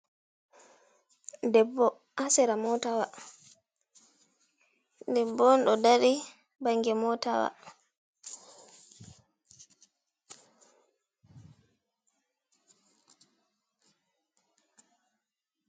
Debbo ha sera motawa. Debbo on ɗo dari bange motawa.